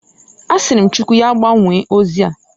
Asịrị m Chukwu ya gbanwoo ozia.